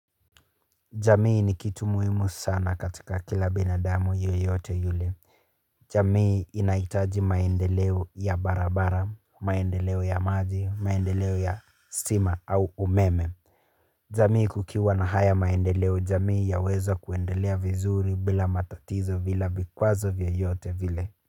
Jamii ni kitu muhimu sana katika kila binadamu yeyote yule. Jamii inahitaji maendeleo ya barabara, maendeleo ya maji, maendeleo ya stima au umeme. Jamii kukiwa na haya maendeleo jamii ya weza kuendelea vizuri bila matatizo bila vikwazo vyoyote vile.